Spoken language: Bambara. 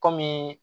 Kɔmi